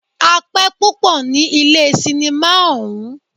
A pẹ́ púpọ ní ilé cinimá ọ̀ún.